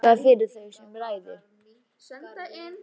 Afi þakkaði fyrir þau með ræðu.